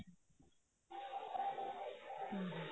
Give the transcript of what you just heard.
ਹਮ